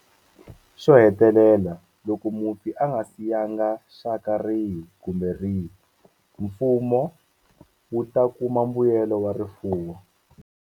Xo hetelela, loko mufi a nga siyanga xaka rihi kumbe rihi, Mfumo wu ta kuma mbuyelo wa rifuwo.